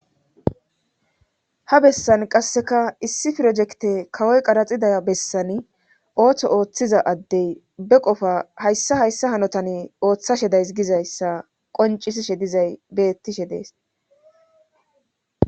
ha bessan qasseka issi pirojekte kawoy qaraxiday bessani ooththo ooththiza addey be qofa hayssa hayssa hanotan ooththashe days gizayssa qoncisishe dizay bettishe dees